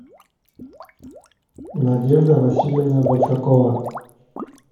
надежда васильевна большакова